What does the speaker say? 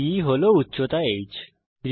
বে হল উচ্চতা h